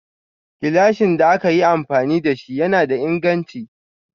Gilashin da ake yi amfani da shi yana da inganchi.